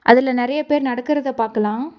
அதுல நெறைய பேர் நடக்கறத பாக்கலா.